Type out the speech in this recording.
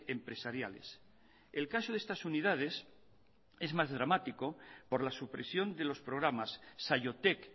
empresariales el caso de estas unidades es más dramático por la supresión de los programas saiotek